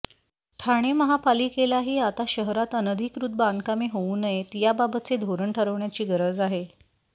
ठाणे महापालिकेलाही आता शहरात अनधिकृत बांधकामे होऊ नयेत याबाबतचे धोरण ठरवण्याची गरज आहे